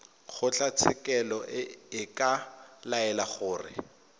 kgotlatshekelo e ka laela gore